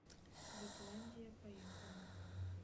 детландия поехали